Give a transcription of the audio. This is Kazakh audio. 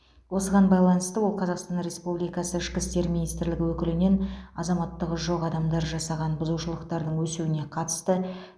осыған байланысты ол қазақстан республикасы ішкі істер министрлігі өкілінен азаматтығы жоқ адамдар жасаған бұзушылықтардың өсуіне қатысты